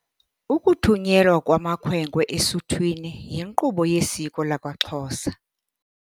Ukuthunyelwa kwamakhwenkwe esuthwini yinkqubo yesiko lakwaXhosa.